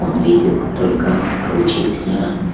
он видит только аа учителя